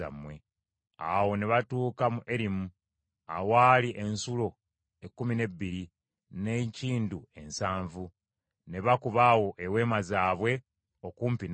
Awo ne batuuka mu Erimu, awaali ensulo ekkumi n’ebbiri, n’enkindu ensanvu; ne bakuba awo eweema zaabwe okumpi n’amazzi.